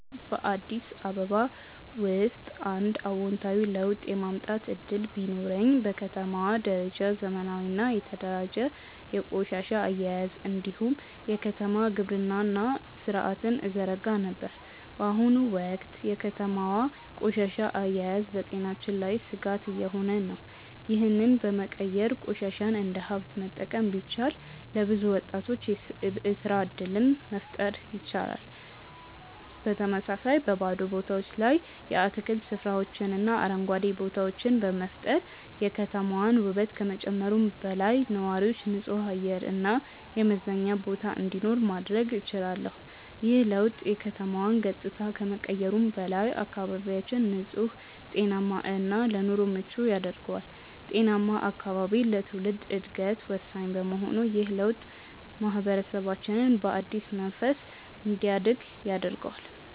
በአዲስ አበባ ውስጥ አንድ አዎንታዊ ለውጥ የማምጣት እድል ቢኖረኝ፣ በከተማዋ ደረጃ ዘመናዊና የተደራጀ የቆሻሻ አያያዝ እንዲሁም የከተማ ግብርና ሥርዓትን እዘረጋ ነበር። በአሁኑ ወቅት የከተማዋ ቆሻሻ አያያዝ በጤናችን ላይ ስጋት እየሆነ ነው፤ ይህንን በመቀየር ቆሻሻን እንደ ሀብት መጠቀም ቢቻል፣ ለብዙ ወጣቶች የስራ እድል መፍጠር ይቻላል። በተመሳሳይ፣ በባዶ ቦታዎች ላይ የአትክልት ስፍራዎችንና አረንጓዴ ቦታዎችን በመፍጠር የከተማዋን ውበት ከመጨመሩም በላይ፣ ለነዋሪዎች ንጹህ አየር እና የመዝናኛ ቦታ እንዲኖር ማድረግ እችላለሁ። ይህ ለውጥ የከተማዋን ገጽታ ከመቀየሩም በላይ፣ አካባቢያችንን ንጹህ፣ ጤናማ እና ለኑሮ ምቹ ያደርገዋል። ጤናማ አካባቢ ለትውልድ ዕድገት ወሳኝ በመሆኑ ይህ ለውጥ ማህበረሰባችንን በአዲስ መንፈስ እንዲያድግ ያደርገዋል።